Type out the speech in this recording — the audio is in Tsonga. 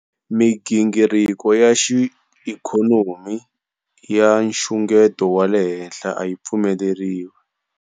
Migingiriko ya xiikhonomi ya nxungeto wa le henhla a yi pfumeleriwi.